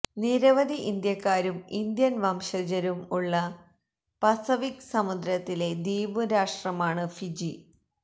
നിരവധി ഇന്ത്യക്കാരും ഇന്ത്യന് വംശജരും ഉള്ള പസഫിക് സമുദ്രത്തിലെ ദ്വീപ് രാഷ്ട്രമാണ് ഫിജി